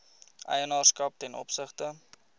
eienaarskap ten opsigte